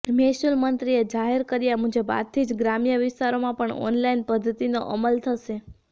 મહેસુલ મંત્રીએ જાહેર કર્યા મુજબ આજથી જ ગ્રામ્ય વિસ્તારોમાં પણ ઓનલાઈન પધ્ધતિનો અમલ થશે